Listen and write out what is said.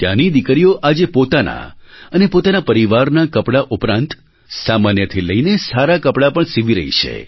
ત્યાંની દીકરીઓ આજે પોતાના અને પોતાના પરિવારનાં કપડાં ઉપરાંત સામાન્યથી લઈને સારાં કપડાં પણ સિવી રહી છે